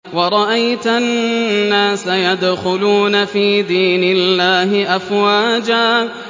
وَرَأَيْتَ النَّاسَ يَدْخُلُونَ فِي دِينِ اللَّهِ أَفْوَاجًا